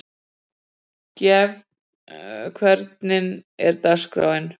Gefn, hvernig er dagskráin?